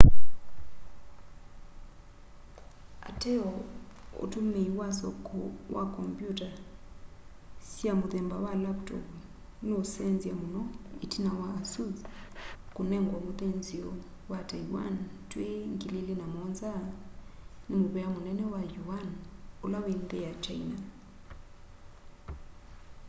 ateo utumíi wa soko wa kombyuta sya muthemba wa lavutovu nuusenzya muno itina wa asus kunengwa muthinzio wa taiwan twi 2007 ni muvía munene wa yuan ula wi nthi ya kyaina